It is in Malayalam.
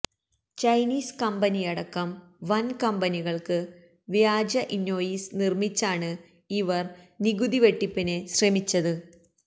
ചൈനീസ് കമ്പനിയടക്കം വന് കമ്പനികള്ക്ക് വ്യാജ ഇന്വോയിസ് നിര്മ്മിച്ചാണ് ഇവര് നികുതി വെട്ടിപ്പിന് ശ്രമിച്ചത്